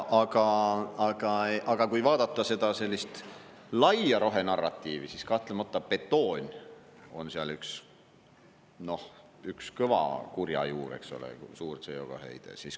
Aga kui vaadata seda laia rohenarratiivi, siis kahtlemata betoon on seal kõva kurja juur, suur CO2 heide.